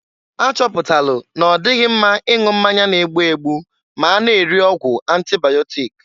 A chọpụtala na-ọdịghị mma ịṅụ mmanya n-egbu egbu ma a na-eri ọgwụ antịbaịọtik.